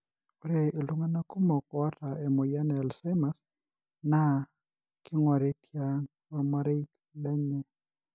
ore iltungana kumok oata emoyian Alzheimers na kingori tiang olmarei lenye.